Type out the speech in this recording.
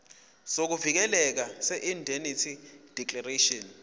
sokuvikeleka seindemnity declaration